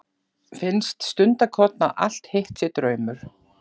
Finnst stundarkorn að allt hitt sé draumur.